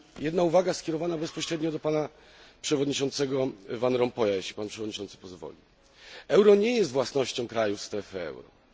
Jedna uwaga skierowana bezpośrednio do Pana Przewodniczącego Van Rompuya, jeśli Pan Przewodniczący pozwoli euro nie jest własnością krajów strefy euro.